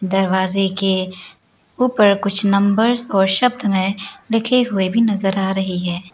दरवाजे के ऊपर कुछ नंबर्स और शब्द में लिखे हुए भी नजर आ रही है।